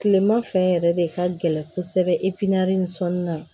Kilema fɛ yɛrɛ de ka gɛlɛn kosɛbɛ ni sɔnni na